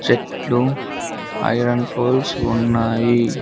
చెట్లు iron poles ఉన్నాయి.